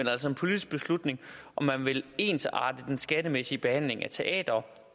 er altså en politisk beslutning om man vil ensarte den skattemæssige behandling af teatre